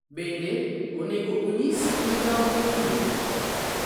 Bende, onego onyis migawo mowinjore.